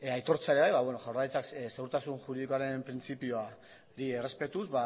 aitortzea ere bai jaurlaritzak ziurtasun juridikoaren printzipioa errespetuz